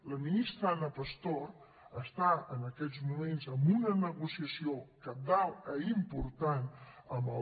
la ministra ana pastor està en aquests moments en una negociació cabdal i important amb el